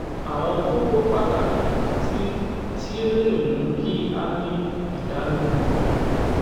àwọn kókó pàtàkì tí tí ó lè mú kí a dín ìdánimọ̀ kù ni: